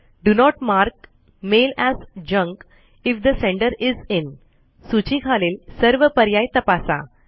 do not mark mail as junk if the sender is in सूची खालील सर्व पर्याय तपासा